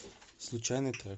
случайный трек